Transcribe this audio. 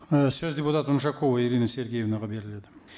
ы сөз депутат унжакова ирина сергеевнаға беріледі